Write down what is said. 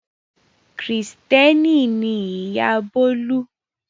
Kìrìtẹ́ẹ́nì ni ìyá Bólú.